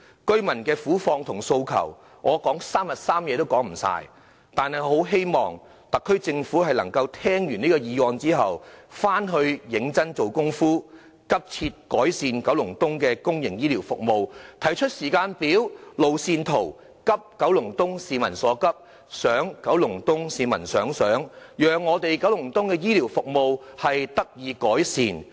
居民的苦況和訴求，我說3天3夜也說不完，但我很希望特區政府聽畢這項議案後，回去能認真下工夫，急切改善九龍東的公營醫療服務，提出時間表、路線圖，急九龍東市民所急，想九龍東市民所想，讓九龍東的醫療服務得以改善。